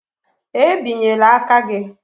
E binyela aka gị?